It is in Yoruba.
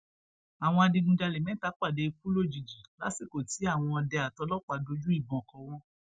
àwọn adigunjalè mẹta pàdé ikú òjijì lásìkò tí àwọn ọdẹ àtòlòpàá dojú ìbọn kọ wọn